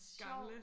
gamle